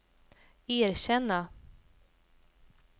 erkänna